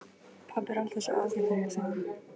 Pabbi er alltaf svo ágætur, hugsaði hann.